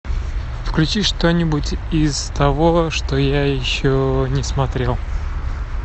включи что нибудь из того что я еще не смотрел